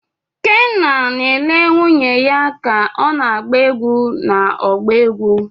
Kenna na-ele nwunye ya ka ọ na-agba egwú n'ọgbọ egwu.